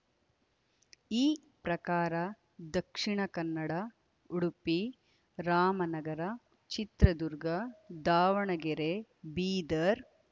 ಈ ಪ್ರಕಾರ ದಕ್ಷಿಣ ಕನ್ನಡ ಉಡುಪಿ ರಾಮನಗರ ಚಿತ್ರದುರ್ಗ ದಾವಣಗೆರೆ ಬೀದರ್‌